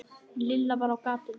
Lilla var á gatinu.